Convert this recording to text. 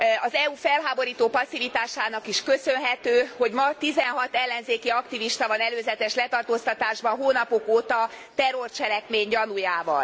Az EU felháborító passzivitásának is köszönhető, hogy ma 16 ellenzéki aktivista van előzetes letartóztatásban hónapok óta terrorcselekmény gyanújával.